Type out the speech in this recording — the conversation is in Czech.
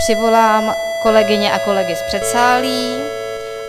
Přivolám kolegyně a kolegy z předsálí.